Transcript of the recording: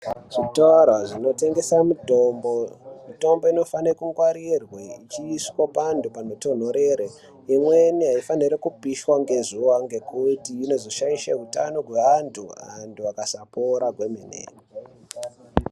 Zvitoro zvinotengesa mitombo mitombo inofane kungwarirwe zvoiswe pandu panotonhorera imweni aifanirwi kupishwa ngezuwa ngekuti inozoshaishe utano hweandu andu akasapora kwemene .